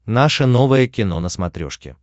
наше новое кино на смотрешке